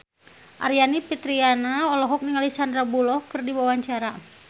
Aryani Fitriana olohok ningali Sandar Bullock keur diwawancara